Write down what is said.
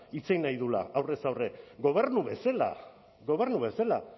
hitz egin nahi duela aurrez aurre gobernu bezala gobernu bezala